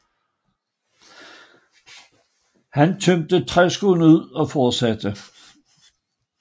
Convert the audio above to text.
Han tømte træskoen ud og fortsatte